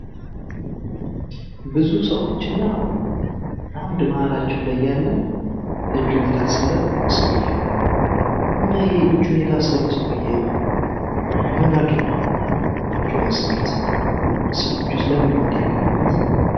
ብዙ ሰዎች እና አንድ እመሀላቸው ላይ ያለ እጁን የታሰረ ሰውየ እና ይኽ እጁን የታሰረው ሰውየ ምን አድርጎ ነው እጁን ያሰሩት? ሰዎቹስ ለምንድነው እንዲህ የከበቡት?